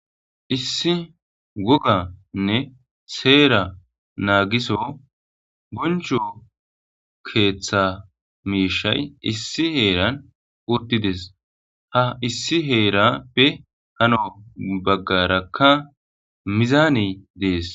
issi woganne seera naagiso boncho keeththa miishay issi heeran urdides ha issi heerappe hano baggarakka mizaane dees